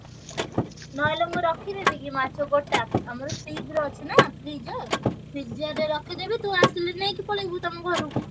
ନହେଲେ ମୁଁ ରଖିଦେବିକି ମାଛ ଗୋଟା ଆମର freeze ରେ ଅଛି ନା freezer, freezer ରେ ରଖିଦେବି ତୁ ଆସିଲେ ନେଇକି ପଳେଇବୁ ତମ ଘରୁକୁ।